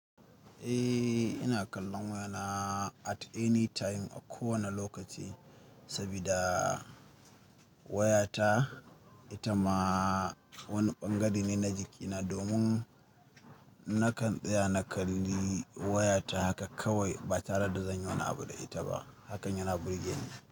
Eh ina kallon wayana at any time, a kowane lokaci sabida wayata ita ma wani ɓangare ne na jikina. Domin nakan tsaya na kalli wayata haka kawai ba tare da zan yi wani abu da ita ba. Hakan yana burge ni.